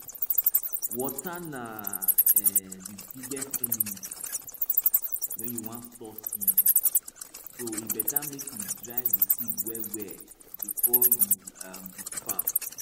water na um de biggest enemy wen you wan store seed so e beta make you dry di seed well well before um you keep am